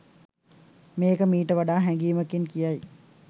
මේක මීට වඩා හැඟීමකින් කියයි